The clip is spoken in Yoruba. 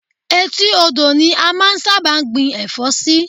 Etí odò ni a máa ń sábà gbin ẹ̀fọ́ sí